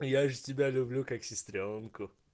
я же тебя люблю как сестрёнку